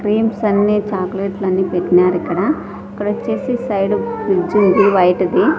Creams అన్నీ చాకోలెట్లు అన్నీ పెట్నారు ఇక్కడ ఇక్కడొచ్చేసి సైడ్ కి ఫ్రిడ్జ్ ఉంది వైట్ ది.